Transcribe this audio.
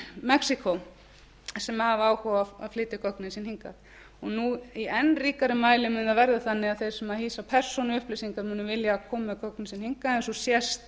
mexíkó sem hafa áhuga á að flytja gögnin sín hingað núna í enn ríkara mæli mun það verða þannig að þeir sem hýsa persónuupplýsingar munu vilja koma með gögnin sín hingað eins og sést